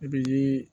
I bɛ